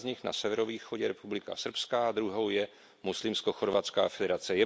Jedna z nich na severovýchodě Republika srbská a druhou je muslimsko chorvatská federace.